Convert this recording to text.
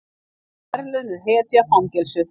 Verðlaunuð hetja fangelsuð